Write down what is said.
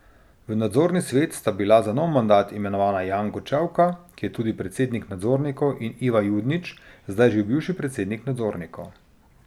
V nadzorni svet sta bila za nov mandat imenovana Janko Čevka, ki je tudi predsednik nadzornikov, in Ivan Judnič, zdaj že bivši predsednik nadzornikov.